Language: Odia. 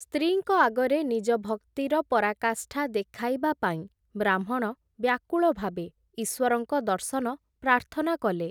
ସ୍ତ୍ରୀଙ୍କ ଆଗରେ ନିଜ ଭକ୍ତିର ପରାକାଷ୍ଠା ଦେଖାଇବା ପାଇଁ ବ୍ରାହ୍ମଣ ବ୍ୟାକୁଳ ଭାବେ ଈଶ୍ୱରଙ୍କ ଦର୍ଶନ ପ୍ରାର୍ଥନା କଲେ ।